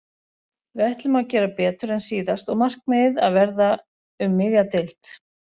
Við ætlum að gera betur en síðast og markmiðið að verða um miðja deild.